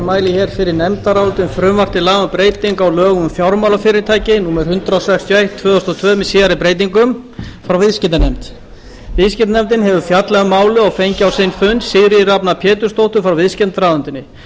mæli hér fyrir nefndaráliti um frumvarp til laga um breytingu á lögum um fjármálafyrirtæki númer hundrað sextíu og eitt tvö þúsund og tvö með síðari breytingum frá viðskiptanefnd viðskiptanefnd hefur fjallað um málið og fengið á sinn fund sigríði rafnar pétursdóttur frá viðskiptaráðuneyti